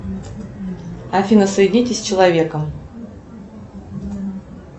афина соедините с человеком